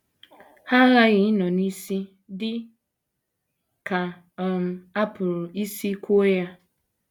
Ha aghaghị ịnọ n’isi, dị ka um a pụrụ isi kwuo ya.